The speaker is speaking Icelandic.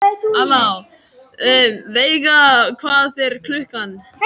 Veiga, hvað er klukkan?